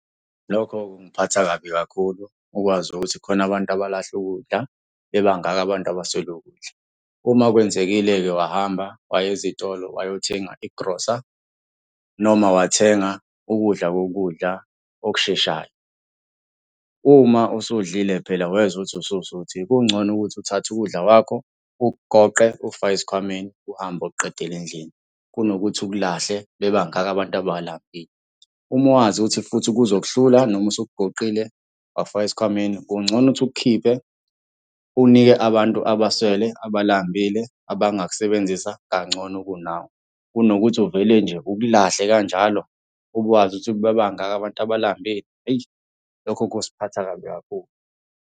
Lokho kungiphatha kabi kakhulu ukwazi ukuthi khona abantu abalahla ukudla bebangaka abantu abaswele ukudla. Uma kwenzekile-ke wahamba waya ezitolo wayothenga igrosa noma wathenga ukudla kokudla okusheshayo. Uma usudlile phela wezwa ukuthi ususuthi kungcono ukuthi uthathe ukudla kwakho, ukugoqe, ukufake esikhwameni, uhambe uyokuqedele endlini, kunokuthi ukulahle bebangaka abantu abalambilei. Uma wazi ukuthi futhi kuzokuhlula noma usukugoqile, wakufaka esikhwameni, kungcono ukuthi ukukhiphe unike abantu abaswele abalambile abangakusebenzisa kangcono kunawe, kunokuthi uvele nje ukulahle kanjalo ube wazi ukuthi bebangaka abantu abalambile, eyi. Lokho kusiphatha kabi kakhulu.